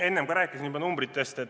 Enne ma juba rääkisin numbritest.